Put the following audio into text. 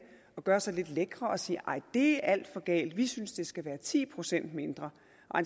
og gøre sig lidt lækre og sige nej det er alt for galt vi synes det skal være ti procent mindre